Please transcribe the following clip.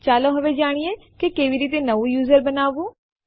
હવે ચાલો જાણીએ કે કેવી રીતે ન્યૂ યુઝર બનાવવું